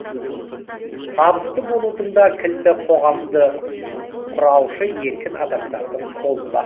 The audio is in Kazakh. табысты болудың да кілті қоғамды құраушы еркін адамдардың қолында